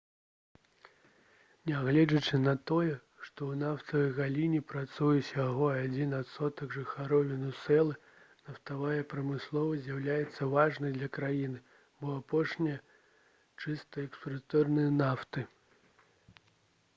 нягледзячы на тое што ў нафтавай галіне працуе ўсяго адзін адсотак жыхароў венесуэлы нафтавая прамысловасць з'яўляецца важнай для краіны бо апошняя чысты экспарцёр нафты